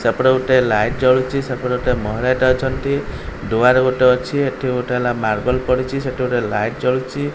ସେପଟେ ଗୋଟେ ଲାଇଟ୍ ଜଳୁଚି ସେପଟେ ଗୋଟେ ମହିଳା ଟେ ଅଛନ୍ତି ଦୁଆରେ ଗୋଟେ ଅଛି ଏଠି ହେଲା ମାର୍ବଲ୍ ପଡିଛି ସେଠି ଗୋଟେ ଲାଇଟ୍ ଜଳୁଛି।